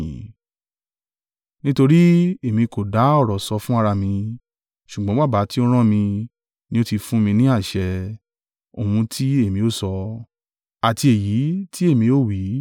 Nítorí èmi kò dá ọ̀rọ̀ sọ fún ara mi, ṣùgbọ́n Baba tí ó rán mi, ni ó ti fún mi ní àṣẹ, ohun tí èmi ó sọ, àti èyí tí èmi ó wí.